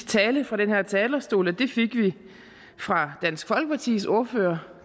tale fra den her talerstol og det fik vi fra dansk folkepartis ordfører